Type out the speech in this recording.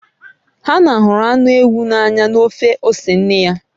Hana hụrụ anụ ewu n'anya na ofe ose nne ya.